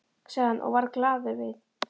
sagði hann og varð glaður við.